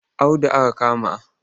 Audu aka kama